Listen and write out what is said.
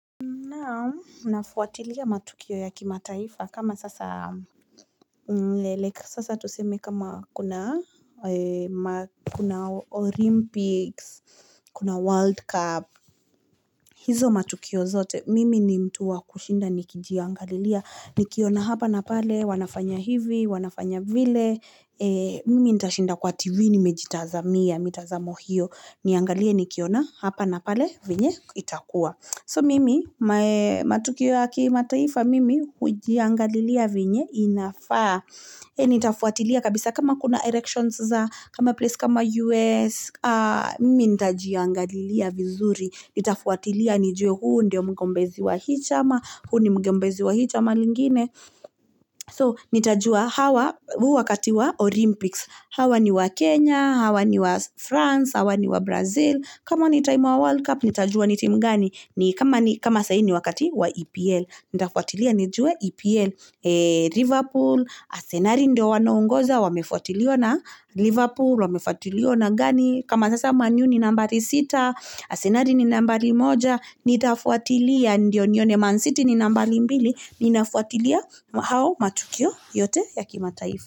Naam, nafuatilia matukio ya kima taifa kama sasa mleleka sasa tuseme kama kuna kuna Olympics, kuna World Cup hizo matukio zote, mimi ni mtu wa kushinda niki jiangalilia Nikiona hapa napale, wanafanya hivi, wanafanya vile mimi ntashinda kwa TV nimejitazamia, mitazamo hio Niangalie, nikiona hapa napale, venye itakua So mimi, matukio ya kima taifa, mimi hujiangalilia venye inafaa Nitafuatilia, kabisa kama kuna election za kama place kama US, mimi ni ntajiangalilia vizuri Nitafwatilia ni jue huu ndio mugombezi wahii chama huu ni mugombezi wahii chama lingine So, nitajua hawa wakati wa Olympics Hawa niwa Kenya, hawa niwa France, hawa niwa Brazil kama ni World Cup, nitajua ni timu gani ni kama saa hii ni wakatiwa EPL Nitafwatilia ni jue EPL Liverpool, asenali ndio wanaongoza wamefwatiliwa na Liverpool, wamefwatiliwa na gani kama sasa man u ni nambari sita asenali ni nambari moja Nitafwatilia ndio nione man siti ni nambari mbili Ninafwatilia hao matukio yote ya kima taifa.